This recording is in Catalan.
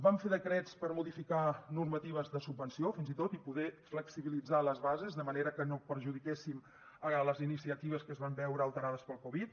vam fer decrets per modificar normatives de subvenció fins i tot i poder flexibilitzar les bases de manera que no perjudiquéssim les iniciatives que es van veure alterades per la covid